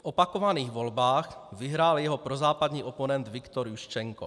V opakovaných volbách vyhrál jeho prozápadní oponent Viktor Juščenko.